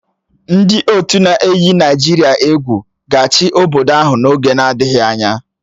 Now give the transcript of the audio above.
Ndị otu ndị na-eyi Naịjirịa egwu ga-achị obodo ahụ n'oge adịghị anya